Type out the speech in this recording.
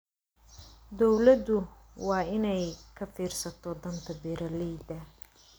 Dawladdu waa inay ka fiirsato danta beeralayda.